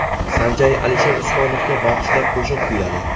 San Jay Alisher Usmonovga bag‘ishlab qo‘shiq kuyladi .